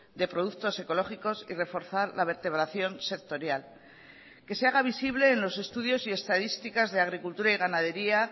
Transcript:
de productos ecológicos y reforzar la vertebración sectorial que se haga visible en los estudios y estadísticas de agricultura y ganadería